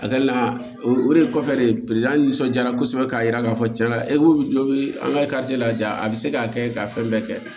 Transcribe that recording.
A kɛli la o de kɔfɛ de nisɔndiyara kosɛbɛ k'a jira k'a fɔ tiɲɛ yɛrɛ bɛ an ka la ja a bɛ se k'a kɛ ka fɛn bɛɛ kɛ